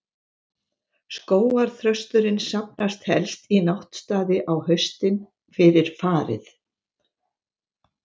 Skógarþrösturinn safnast helst í náttstaði á haustin, fyrir farið.